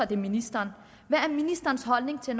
det er ministeren hvad er ministerens holdning til